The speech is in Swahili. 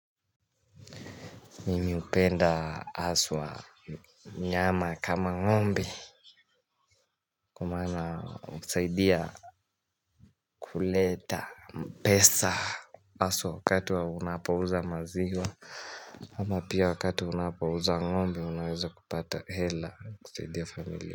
Mimi hupenda haswa nyama kama ng'ombe maana husaidia kuleta pesa haswa wakati wa unapouza maziwa Ama pia wakati unapouza ng'ombe unaweza kupata hela kusaidia familia.